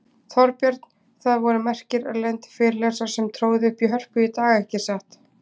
Þorbjörn, það voru merkir erlendir fyrirlesarar sem tróðu upp í Hörpu í dag, ekki satt?